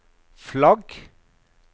flagg